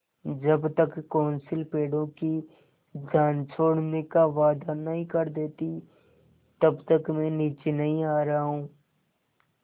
जब तक कौंसिल पेड़ों की जान छोड़ने का वायदा नहीं कर देती तब तक मैं नीचे नहीं आ रहा हूँ